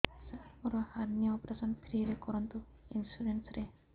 ସାର ମୋର hernia operation free ରେ କରନ୍ତୁ ଇନ୍ସୁରେନ୍ସ ରେ